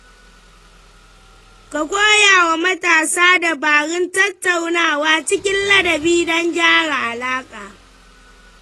Ka koya wa matasa dabarun tattaunawa cikin ladabi don gyara alaƙa.